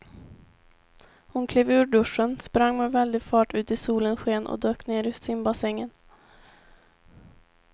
Hon klev ur duschen, sprang med väldig fart ut i solens sken och dök ner i simbassängen.